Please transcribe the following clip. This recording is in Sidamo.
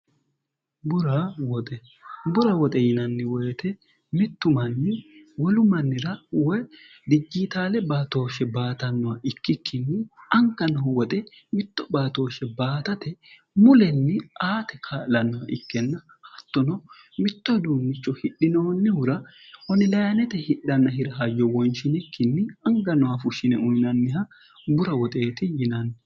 burwoxbura woxe yinanni woyite mittu manyi wolu mannira woy dijjiitaale baatooshshe baatannoha ikkikkinni ankanoho woxe mitto baatooshshe baatate mulenni aati ka'lannoha ikkenna hattono mitto duummicho hidhinoonnihura honilymete hidhanna hira hayyo woynshinikkinni anga noha fushshine uyinanniha bura woxeeti yinanni